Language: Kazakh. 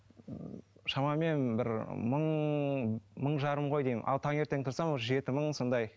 ммм шамамен бір мың мың жарым ғой деймін ал таңертең тұрсам уже жеті мың сондай